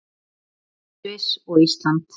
Noreg, Sviss og Ísland.